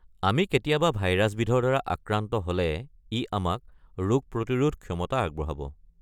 আমি কেতিয়াবা ভাইৰাছবিধৰ দ্বাৰা আক্ৰান্ত হ'লে ই আমাক ৰোগ প্ৰতিৰোধ ক্ষমতা আগবঢ়াব।